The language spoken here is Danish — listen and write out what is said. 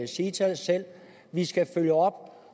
sige til os selv vi skal følge op og